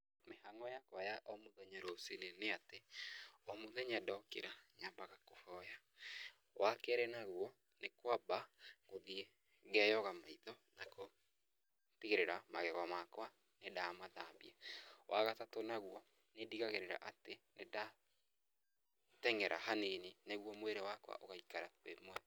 Mĩhang'o yakwa ya o mũthenya ruciinĩ ni ati, o mũthenya ndokĩra, nyambaga kũhoya. Wa kerĩ naguo, nĩ kwamba gũthiĩ ngeyoga maitho na kũ tigĩrĩra magego makwa nĩ ndamathambia. Wa gatatũ naguo, nĩ ndĩgagĩrĩra atĩ nĩ ndateng'era hanini nĩguo mwĩrĩ wakwa ũgaikara wĩ mwega.